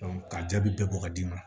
ka jaabi bɛɛ bɔ ka d'i ma